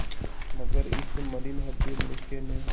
मगर इस मलिन हृदय मनुष्य ने